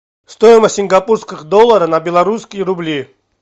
стоимость сингапурских долларов на белорусские рубли